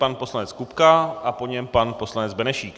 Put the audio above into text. Pan poslanec Kupka a po něm pan poslanec Benešík.